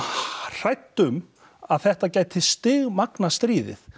hrædd um að þetta gæti stigmagnað stríðið